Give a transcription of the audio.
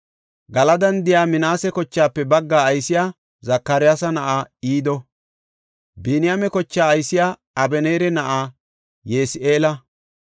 Galadan de7iya Minaase kochaafe baggaa aysey Zakariyasa na7aa Ido. Biniyaame kochaa aysey Abeneera na7aa Ye7isi7eela.